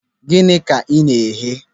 Gịnị ka ị na-eghe?